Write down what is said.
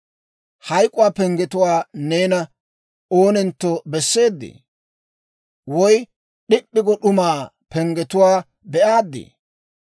Hayk'uwaa penggetuwaa neena oonentto besseedee? Woy d'ip'p'i go d'umaa penggetuwaa be'aaddi?